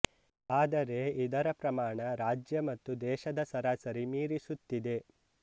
ಆದರೆ ಇದರ ಪ್ರಮಾಣ ರಾಜ್ಯ ಮತ್ತು ದೇಶದ ಸರಾಸರಿ ಮೀರಿಸುತ್ತಿದೆ